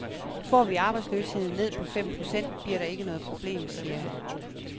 Får vi arbejdsløsheden ned på fem procent, bliver der ikke noget problem, siger han.